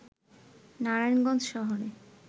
নারায়ণগঞ্জ শহরে